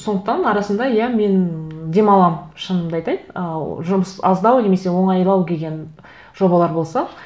сондықтан арасында иә мен демаламын шынымды айтайын ыыы жұмыс аздау немесе оңайлау келген жобалар болса